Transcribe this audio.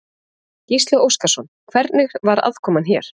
Gísli Óskarsson: Hvernig var aðkoman hér?